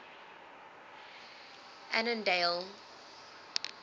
annandale